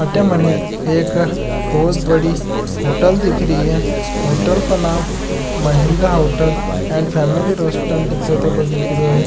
अठे मने एक बोहोत बड़ी होटल दिख री है होटल का नाम Mahendra hotel and family restaurant दिख्या तको दिख रेयो है।